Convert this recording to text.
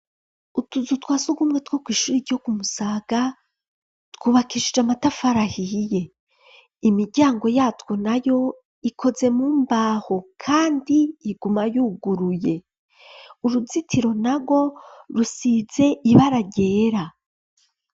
Utuzu twa sugumwe two kw'ishura iryo kumusaga twubakishije amatafar ahiye, imijyango yatwo na yo ikoze mu mbaho kandi iguma yuguruye, uruzitiro na rwo rusize ibara ryera.